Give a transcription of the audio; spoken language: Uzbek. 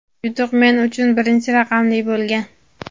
yutuq men uchun birinchi raqamli bo‘lgan.